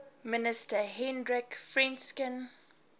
minister hendrik frensch